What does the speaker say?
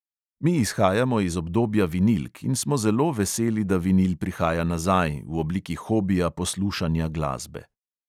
Mi izhajamo iz obdobja vinilk in smo zelo veseli, da vinil prihaja nazaj v obliki hobija poslušanja glasbe.